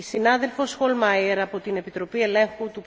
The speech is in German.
Frau Präsidentin, liebe Kolleginnen und Kollegen!